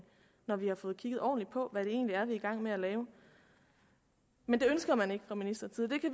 når vi har fået kigget ordentligt på hvad det egentlig er vi er i gang med at lave men det ønsker man ikke og